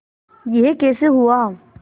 यह कैसे हुआ